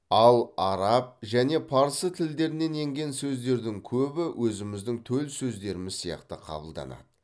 ал араб және парсы тілдерінен енген сөздердің көбі өзіміздің төл сөздеріміз сияқты қабылданады